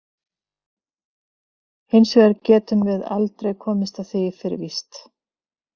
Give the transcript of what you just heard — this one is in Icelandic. Hins vegar getum við aldrei komist að því fyrir víst.